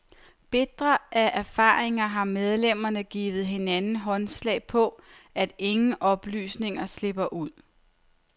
Bitre af erfaringer har medlemmerne givet hinanden håndslag på, at ingen oplysninger slipper ud.